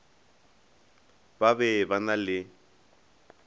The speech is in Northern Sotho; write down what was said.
ba be ba na le